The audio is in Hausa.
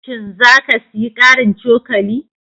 Shin za ka sayi ƙarin cokali?